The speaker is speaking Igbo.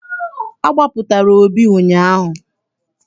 A gbapụtara Obi ụnyaahụ.